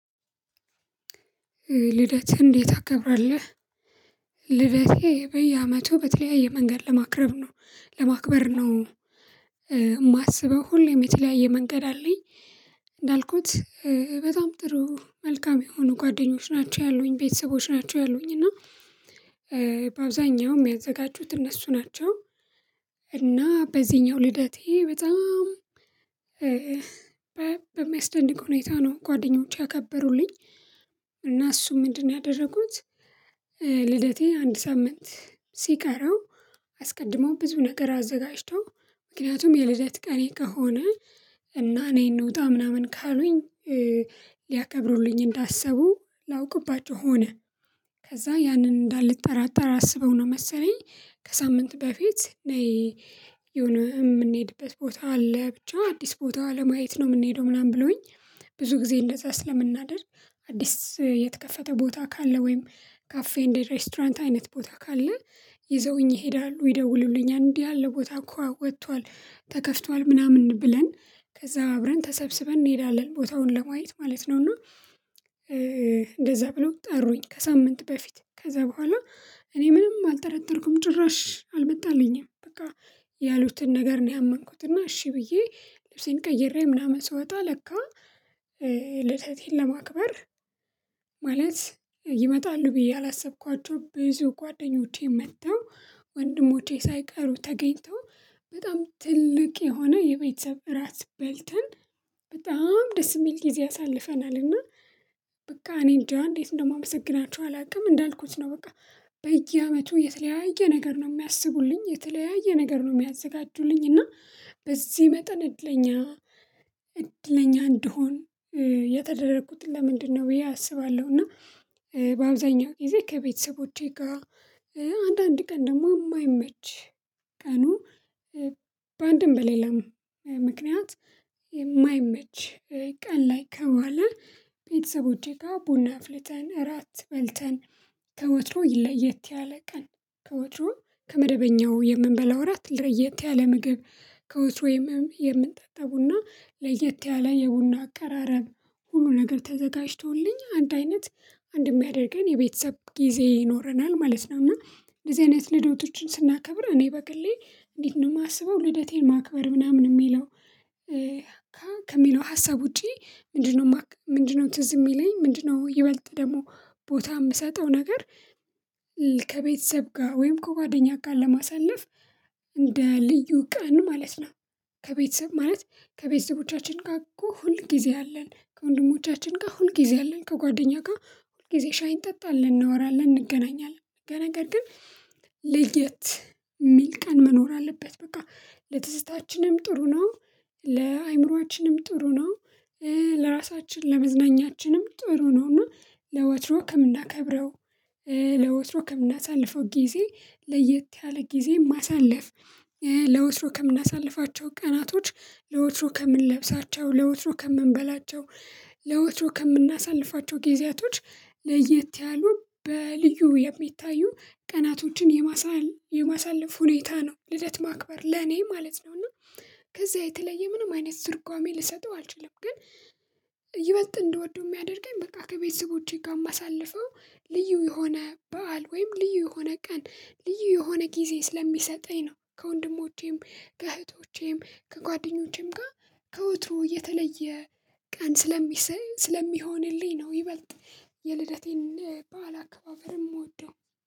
ልደትህን እንዴት ታከብራለህ? ልደቴ በየአመቱ በተለያየ መንገድ ለማክረብ ነው ለማክበር ነው የማስበው ሁሌ የተለያየ መንገድ አለኝ። እንዳልኩት በጣም ጥሩ መልካም የሆኑ ጓደኞች ናቸው ያሉኝ ቤተሰቦች ናቸው ያሉኝ እና በአብዛኛው የሚያዘጋጁት እነሱ ናቸው። እና በዚህኛው ልደቴ በጣም በሚያስደንቅ ሁኔታ ነው ጓደኞቼ ያከበሩልኝ እና እሱም ምንድነው ያደረጉት? ልደቴን አንድ ሳምንት ሲቀራው አስቀድሞ ብዙ ነገር አዘጋጅተው ምክንያቱም የልደት ቀኔ ከሆነ እና ነይ እንውጣ ምናምን ካሉኝ ሊያከብሩልኝ እንዳሰቡ ላውቅባቸው ሆነ ከዛ ያንን እንዳልጠራጠር አስበው ነው መሰለኝ። ከሳምንት በፊት ነይ የሆነ የምንሄድበት ቦታ አለ ብቻ አዲስ ቦታ ለማየት ነው የምንሄደው ምናምን ብለውኝ ብዙ ጊዜ እንደዛ ስለምናደርግ አዲስ የተከፈተ ቦታ ካለ ወይም ካፌ እንደ ሬስቶራንት አይነት ቦታ ካለ ይዘውኝ ይሄዳሉ ይደውሉልኛል እንዲህ ያለ ቦታ እኮ ወጥቷል ተከፍቷል ምናምን ብለን ከዛ አብረን ተሰብስበን እንሄዳለን ቦታውን ለማየት ማለት ነው። እና እንደዛ ብለው ጠሩኝ ከሳምንት በፊት ከዛ በኋላ እኔ ምንም አልጠረጠርኩም ጭራሽ አልመጣልኝም በቃ ያሉትን ነገር ነው ያመንኩት። እና እሺ ብዬ ልብሴን ቀይሬ ምናምን ስወጣ ለካ ልደቴን ለማክበር ማለት ይመጣሉ ብዬ አላሰብኳቸውም ብዙ ጓደኞቼ መጥተው ወንድሞቼ ሳይቀሩ ተገኝተው በጣም ትልቅ የሆነ የቤተሰብ ራት በልተን በጣም ደስ የሚል ጊዜ አሳልፈናል። እና በቃ እኔ እንጃ እንዴት እንደማመሰግናቸው አላውቅም እንዳልኩት ነው በቃ በየአመቱ የተለያየ ነገር ነው የሚያስቡልኝ የተለያየ ነገር ነው የሚያዘጋጁልኝ እና በዚህ መጠን እድለኛ እድለኛ እንድሆን የተደረኩት ለምንድን ነው ብዬ አስባለሁ። እና በአብዛኛው ጊዜ ከቤተሰቦቼ ጋር አንዳንድ ቀን ደግሞ የማይመች ቀኑ በአንድም በሌላም ምክንያት የማይመች ቀን ላይ ከዋለ ቤተሰቦቼ ጋር ቡና አፍልተን ራት በልተን ከወትሮው ይ ለየት ያለ ቀን ከወትሮው ከመደበኛው የምንበላው ራት ለየት ያለ ምግብ ከወትሮ የምም የምንጠጣው ቡና ለየት ያለ የቡና አቀራረብ ሁሉ ነገር ተዘጋጅቶልኝ አንድ አይነት አንድ የሚያደርገን የቤተሰብ ጊዜ ይኖረናል ማለት ነው። እና እንደዚህ አይነት ልደቶችን ስናከብር እኔ በግሌ እንዴት ነው የማስበው ልደቴን ማክበር ምናምን የሚለው ከ ከሚለው ሀሳብ ውጪ ምንድን ነው ምንድን ነው ትዝ የሚለኝ ምንድን ነው? ይበልጥ ደግሞ ቦታ የምሰጠው ነገር ከቤተሰብ ጋር ወይም ከጓደኛ ጋር ለማሳለፍ እንደ ልዩ ቀን ማለት ነው። ከቤተሰብ ማለት ከቤተሰቦቻችን ጋር እኮ ሁል ጊዜ አለን ከወንድሞቻችን ጋር ሁል ጊዜ አለን ከጓደኛ ጋር ሁል ጊዜ ሻይ እንጠጣለን እናወራለን እንገናኛለን ለ ነገር ግን ለየት የሚል ቀን መኖር አለበት በቃ ለትዝታችንም ጥሩ ነው። ለአእምሮአችንም ጥሩ ነው። ለራሳችን ለመዝናኛችንም ጥሩ ነውና ለወትሮ ከምናከብረው ለወትሮ ከምናሳልፈው ጊዜ ለየት ያለ ጊዜ ማሳለፍ ለወትሮ ከምናሳልፋቸው ቀናቶች ለወትሮ ከምንለብሳቸው ለወትሮ ከምንበላቸው ለወትሮው ከምናሳልፋቸው ጊዜያቶች ለየት ያሉ በልዩ የሚታዩ ቀናቶችን የማሳል የማሳለፍ ሁኔታ ነው ልደት ማክበር ለኔ ማለት ነው። እና ከዛ የተለየ ምንም አይነት ትርጓሜ ልሰጠው አልችልም። ግን ይበልጥ እንድወደው የሚያደርገኝ በቃ ከቤተ ቦቼ ጋር የማሳልፈው ልዩ የሆነ በዓል ወይም ልዩ የሆነ ቀን ልዩ የሆነ ጊዜ ስለሚሰጠኝ ነው ከወንድሞቼም ከእህቶቼም ከጓደኞቼም ጋር ከወትሮ የተለየ ቀን ስለሚሰይ ስለሚሆንልኝ ነው። ይበልጥ የልደቴን በዓል አካባበርም የምወደው